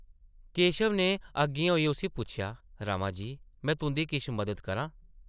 केशव नै अग्गें होइयै उस्सी पुच्छेआ ,‘‘ रमा जी, में तुंʼदी किश मदद करां ?’’